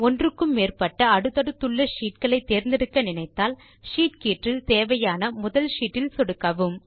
ஒன்றுக்கு மேற்பட்ட அடுத்தடுத்துள்ள ஷீட் களை தேர்ந்தெடுக்க நினைத்தால் ஷீட் கீற்றில் தேவையான முதல் ஷீட் இல் சொடுக்கவும்